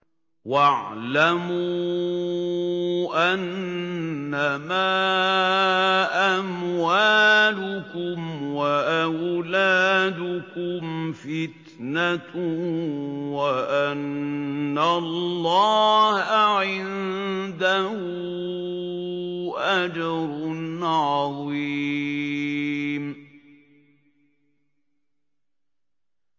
وَاعْلَمُوا أَنَّمَا أَمْوَالُكُمْ وَأَوْلَادُكُمْ فِتْنَةٌ وَأَنَّ اللَّهَ عِندَهُ أَجْرٌ عَظِيمٌ